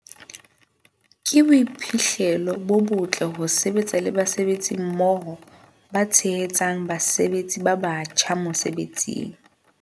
Ke boiphihlelo bo botle ho sebetsa le basebetsi mmoho ba tshehetsang basebetsi ba batjha mosebetsing.